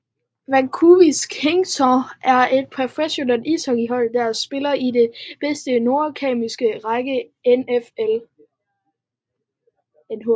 Vancouver Canucks er et professionelt ishockeyhold der spiller i den bedste nordamerikanske række NHL